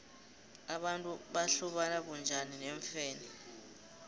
abantu bahlobana bunjani neemfene